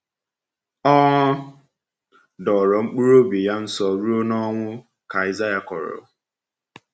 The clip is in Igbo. “Ọ dọọrọ mkpụrụobi ya nsọ ruo n’onwu,” ka Aịsaịa kọrọ.